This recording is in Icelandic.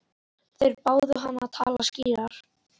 Þeir báðu hann að tala skýrar.